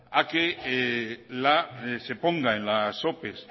a que se ponga en las opes